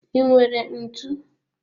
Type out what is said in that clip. I nwere ntụ?